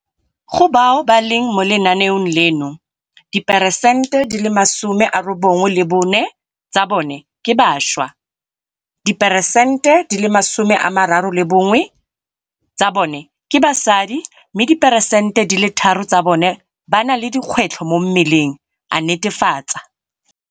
Go bao ba leng mo lenaenong leno, diperesente di le masome a robongwe le bone ya bone ke bašwa, diperesente di le masome a mararo le bongwe ya bone ke basadi mme diperesente di le tharo tsa bone ba na le dikgwetlho mo mmeleng, a netefatsa.